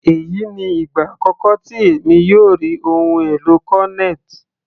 Èyí ni ìgbà àkọ́kọ́ tí èmi yóò rí ohun èlò cornet.